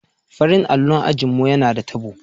Farin allo a ajin mu yana da tabo.